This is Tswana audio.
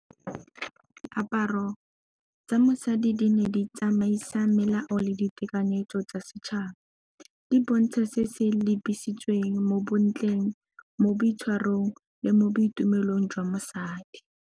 Diaparo tsa mosadi di ne di tsamaisa melao le ditekanyetso tsa setšhaba. Di bontsha se se lebisitsweng mo bontleng, le mo boitshwarong, le mo boitumelong jwa mosadi.